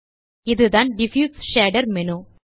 இதுதான் diffuse shader menu